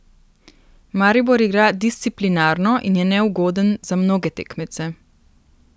Maribor igra disciplinirano in je neugoden za mnoge tekmece.